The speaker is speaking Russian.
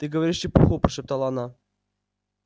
ты говоришь чепуху прошептала она